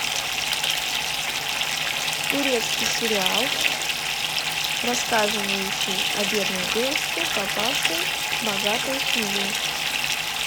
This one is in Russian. турецкий сериал рассказывающий о бедной девушке попавшей в богатую семью